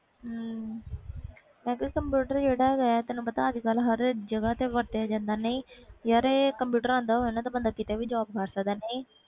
ਉਹ ਤੇ ਜਿਹੜਾ ਕੰਪਿਊਟਰ ਹੈ ਗਏ ਆ ਉਹ ਹਰ ਜਗ੍ਹਾ ਤੇ ਵਰਤਿਆਂ ਜਾਂਦਾ ਆ ਕੰਪਿਊਟਰ ਆਂਦਾ ਹੋਵੇ ਬੰਦਾ ਕੀਤੇ ਵੀ job ਕਰ ਸਕਦਾ ਆ